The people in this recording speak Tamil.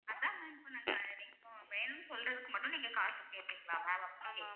அதா ma'am இப்ப நாங்க வேணும் சொல்றதுக்கு மட்டும் நீங்க காசு கேட்பிங்களா ma'am அப்படி கேக்குற